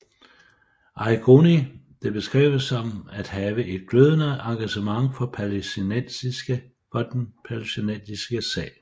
Arrigoni blev beskrevet som at have et glødende engagement for palæstinæstiske sag